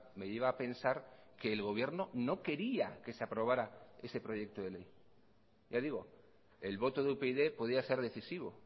me lleva a pensar que el gobierno no quería que se aprobara ese proyecto de ley ya digo el voto de upyd podía ser decisivo